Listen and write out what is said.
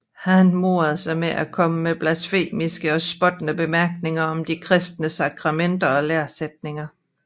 Han morede sig med at komme med blasfemiske og spottende bemærkninger om de kristne sakramenter og læresætninger